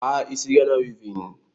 Kpaa isi Ghana wivin